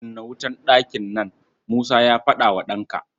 "Kunna wutar ɗakin nan!" Musa ya faɗa wa ɗanka.